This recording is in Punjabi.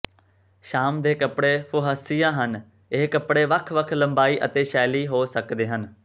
ਸ਼ਾਮ ਦੇ ਕੱਪੜੇ ਫੁਹਸੀਆ ਹਨ ਇਹ ਕੱਪੜੇ ਵੱਖ ਵੱਖ ਲੰਬਾਈ ਅਤੇ ਸ਼ੈਲੀ ਹੋ ਸਕਦੇ ਹਨ